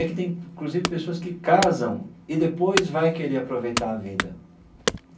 É que tem, inclusive, pessoas que casam e depois vai querer aproveitar a vida.